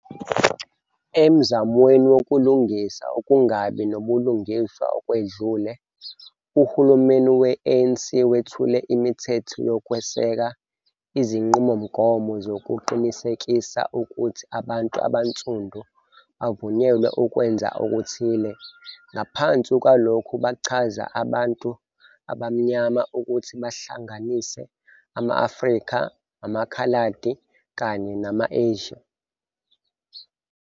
Emzamweni wokulungisa ukungabi nabulungiswa okwedlule, uhulumeni we-ANC wethule imithetho yokweseka izinqubomgomo zokuqinisekisa ukuthi abantu abaNsundu bavunyelwe ukwenza okuthile, ngaphansi kwalokhu bachaza abantu "abaMnyama" ukuthi bahlanganise "ama-Afrika", "amaKhaladi" kanye "nama-Asia".